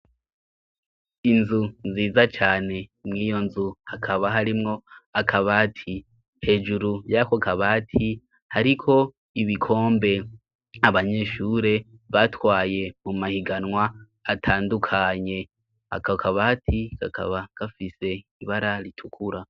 Inzu nziza cane imwiyo nzu akaba harimwo akabati hejuru ryakokabati hariko ibikombe abanyeshure batwaye mu mahiganwa atandukanye akokabati gakaba gafise ibara ritukura.